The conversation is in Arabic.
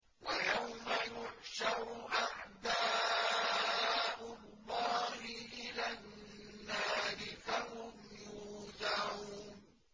وَيَوْمَ يُحْشَرُ أَعْدَاءُ اللَّهِ إِلَى النَّارِ فَهُمْ يُوزَعُونَ